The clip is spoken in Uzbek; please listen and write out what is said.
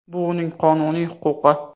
Bu uning qonuniy huquqi.